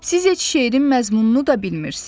Siz heç şeirin məzmununu da bilmirsiniz.